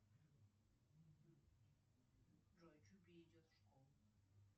джой чупи идет в школу